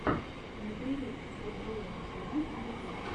набери доброум тиви ютуб